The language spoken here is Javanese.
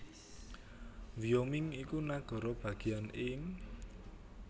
Wyoming iku nagara bagéyan ing